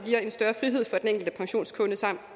enkelte pensionskunde samt